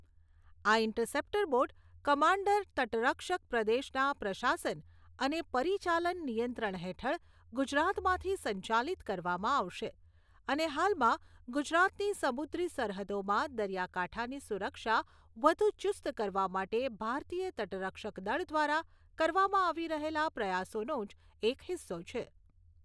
આ interceptor boat commander તટરક્ષક પ્રદેશના પ્રશાસન અને પરિચાલન નિયંત્રણ હેઠળ ગુજરાતમાંથી સંચાલિત કરવામાં આવશે અને હાલમાં ગુજરાતની સમુદ્રી સરહદોમાં દરિયાકાંઠાની સુરક્ષા વધુ ચુસ્ત કરવા માટે ભારતીય તટરક્ષકદળ દ્વારા કરવામાં આવી રહેલા પ્રયાસોનો જ એક હિસ્સો છે.